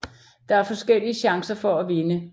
Der er forskellige chancer for at vinde